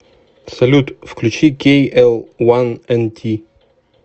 салют включи кей эл уан эн ти